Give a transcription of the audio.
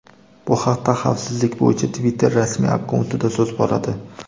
Bu haqda xavfsizlik bo‘yicha Twitter rasmiy akkauntida so‘z boradi.